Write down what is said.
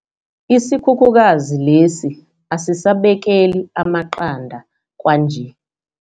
Isikhukhukazi lesi asisabekeli amaqanda kwanje.